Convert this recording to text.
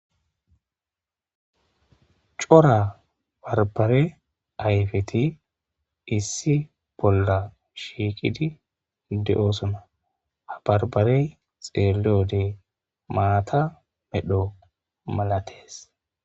Cora bdrbare ayfeti issi bola fhiiqidi de'osona ha barbarey xeeliyode maata medjo malates.